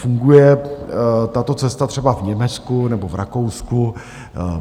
Funguje tato cesta třeba v Německu nebo v Rakousku.